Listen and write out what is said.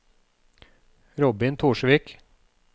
Robin Torsvik